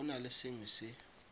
go na le sengwe se